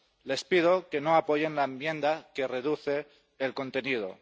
Les pido que no apoyen la enmienda que reduce el contenido.